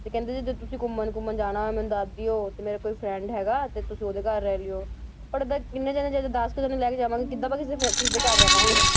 ਤੇ ਕਹਿੰਦੇ ਜਦੋਂ ਤੁਸੀਂ ਘੁੰਮਣ ਘੁੰਮਣ ਜਾਣਾ ਹੋਏ ਮੈਨੂੰ ਦੱਸ ਦਿਓ ਤੇ ਮੇਰਾ ਕੋਈ friend ਹੈਗਾ ਤੇ ਤੁਸੀਂ ਉਹਦੇ ਘਰ ਰਹਿ ਲਇਓ, ਪਰ ਅਗਰ ਇੰਨੇ ਜਾਣੇ ਜਦ ਦਸ ਕੁ ਜਾਣੇ ਲੈ ਕੇ ਜਾਵਾਂਗੇ ਕਿੱਦਾਂ ਆਪਾਂ ਕਿਸੇ ਦੇ ਫਿਰ ਕਿਸੇ ਦੇ ਘਰ ਰਵਾਂਗੇ